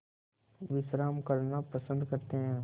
विश्राम करना पसंद करते हैं